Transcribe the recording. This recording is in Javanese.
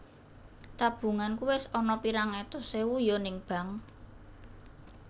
Tabunganku wis ana pirang atus ewu yo ning Bank